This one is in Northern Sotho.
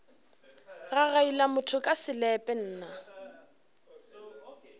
gagaila motho ka selepe nna